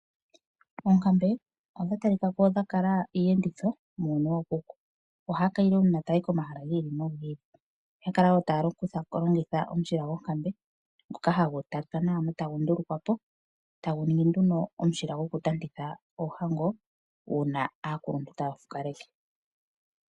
Oonkambe odhatalikako onga iiyenditho muuyuni wookuku, ohaya kayile uuna taya yi pomahala giili no giili. Oyakala wo taya longitha omushila gonkambe ngoka hagu tatwa nawa eta gundulukwapo taguningi nduno omushila gokutantitha oohango uuna aakuluntu taya fukaleke.